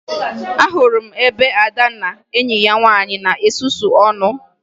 Ahụrụ m ebe Ada na enyi ya nwaanyị na-esusu ọnụ